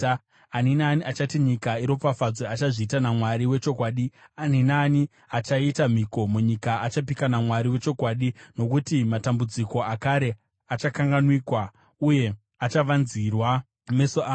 Ani naani achati nyika iropafadzwe achazviita naMwari wechokwadi; ani naani achaita mhiko munyika achapika naMwari wechokwadi. Nokuti matambudziko akare achakanganwikwa, uye achavanzirwa meso angu.